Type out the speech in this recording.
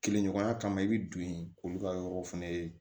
Kelen ɲɔgɔnya kama i bɛ don yen k'olu ka yɔrɔ fɛnɛ ye